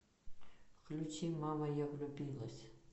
включи мама я влюбилась